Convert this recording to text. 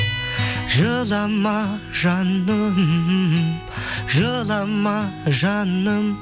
жылама жаным жылама жаным